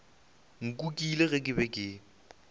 nkukile ge ke be ke